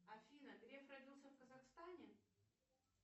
афина греф родился в казахстане